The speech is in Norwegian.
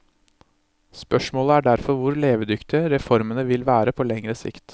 Spørsmålet er derfor hvor levedyktige reformene vil være på lengre sikt.